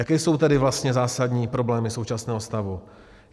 Jaké jsou tedy vlastně zásadní problémy současného stavu?